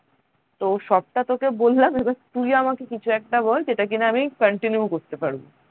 তো সবটা তোকে বললাম এবার তুই আমাকে কিছু একটা বল যেটা কিনা আমি continue করতে পারবো